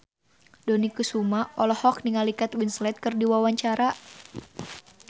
Dony Kesuma olohok ningali Kate Winslet keur diwawancara